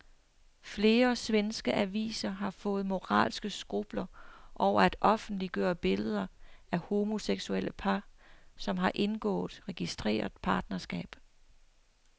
Flere svenske aviser har fået moralske skrupler over at offentliggøre billeder af homoseksuelle par, som har indgået registreret partnerskab.